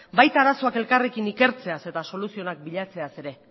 baita arazoak elkarrekin ikertzeaz eta soluzioenak bilatzeaz ere